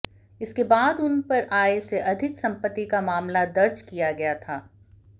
इसके बाद उन पर आय से अधिक सम्पत्ति का मामला दर्ज किया गया था